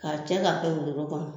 K'a cɛ k'a kɛ wotoro kɔnɔ.